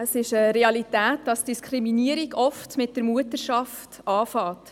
Es ist eine Realität, dass Diskriminierung oft mit der Mutterschaft beginnt.